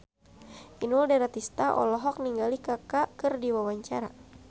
Inul Daratista olohok ningali Kaka keur diwawancara